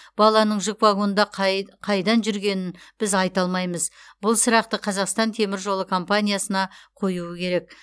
баланың жүк вагонында қайдан жүргенін біз айта алмаймыз бұл сұрақты қазақстан темір жолы компаниясына қоюы керек